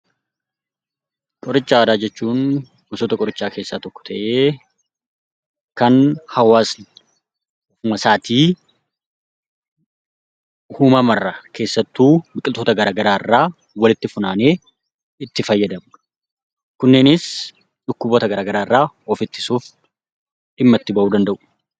Qoricha aadaa jechuun gosoota qorichaa keessaa tokkoo ta'ee; kan hawwaasni ofuma isaatii biqiltoota addaa addaa irraa walitti funaanee itti fayyadamuudha. Kunneenis dhukkuboota garaa garaa of ittisuuf dhimma itti ba'uu danda'u.